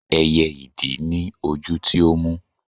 ẹyẹ idì ni ojú tí ó mú